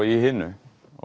í hinu